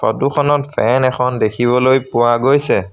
Photo খনত fan এখন দেখিবলৈ পোৱা গৈছে।